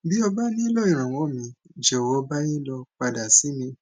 bí o bá nílò ìrànwọ míì jòwọ báyé lọ padà sí mi